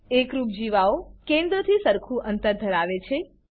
એકરૂપ જીવાઓ કેન્દ્રથી સરખું અંતર ધરાવે છે